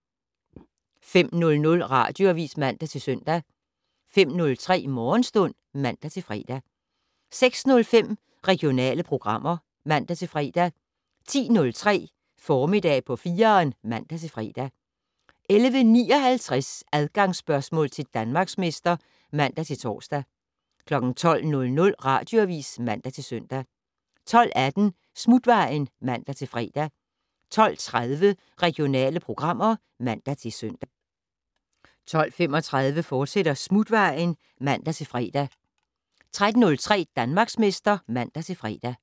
05:00: Radioavis (man-søn) 05:03: Morgenstund (man-fre) 06:05: Regionale programmer (man-fre) 10:03: Formiddag på 4'eren (man-fre) 11:59: Adgangsspørgsmål til Danmarksmester (man-tor) 12:00: Radioavis (man-søn) 12:18: Smutvejen (man-fre) 12:30: Regionale programmer (man-søn) 12:35: Smutvejen, fortsat (man-fre) 13:03: Danmarksmester (man-fre)